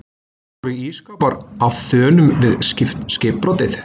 voru ísskápar á þönum við skipbrotið